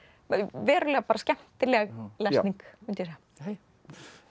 verulega skemmtileg lesning mundi ég segja